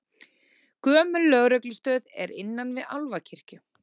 Gömul lögreglustöð er innan við Álfakirkju